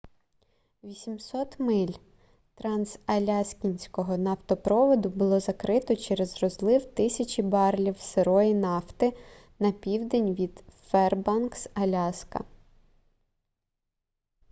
800 миль трансаляскінського нафтопроводу було закрито через розлив тисяч барелів сирої нафти на південь від фербанкс аляска